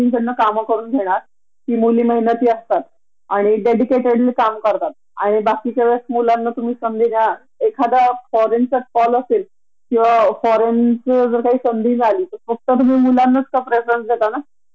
Private मध्ये unpaid leave असते. पान तो माहीला म्हणून आपला हक्क आहे आणि आपण ते आपल्या साठी घेतो का? त्या आपल्या शारीरिक रिकव्हरी साठी आणि छोट्या बाळाच्या चांगल्या रिकव्हरी साठी ती सुट्टी गव्हरमेन्ट ने आणि अनेक देशात अशीं सुट्टी आहे